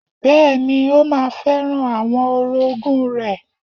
Bẹ́ẹ̀ni, ó ma fẹ́ràn àwọn orogún rẹ̀.